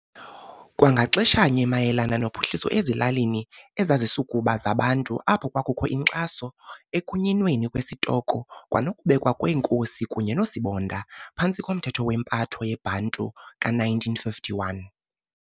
Kwangaxeshanye mayelana nophuhliso ezilalini ezazisukuba zaBantu apho kwakukho inkcaso ekunyinweni kwesitoko kwanokubekwa kweenkosi kunye noosibonda phantsi komthetho wempatho yeBantu ka-1951.